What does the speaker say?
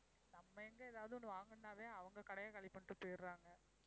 நம்ப எங்க ஏதாவது ஒண்ணு வாங்கணும்னாவே அவங்க கடையை காலி பண்ணிட்டு போயிடறாங்க.